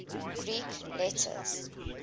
greek letters